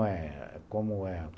Falei, como é?